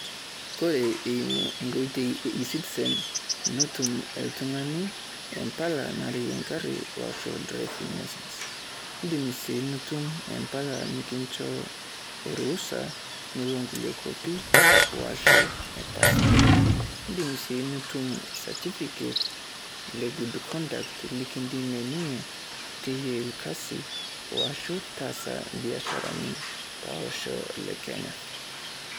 Kore iimu enkoitoi e e-citizen netum iltung`ani impala nareyie e garri o ashu driving licence. Idim sii nitum empala nikincho o ruhusa nilo nkulie kuapi aashu e passport. Idim sii nitum certificate le good conduct likidimie ninye teyiai ilkasi aashu taasa ibiasharani to losho le Kenya.